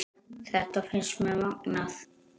Þetta finnst mér magnað.